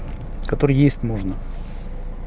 который есть можно